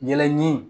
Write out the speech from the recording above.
Yɛlɛ ɲi